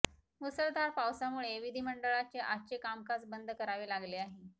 मुसळधार पावसामुळे विधिमंडळाचे आजचे कामकाज बंद करावे लागले आहे